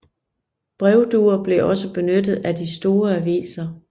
Brevduer blev også benyttet af de store aviser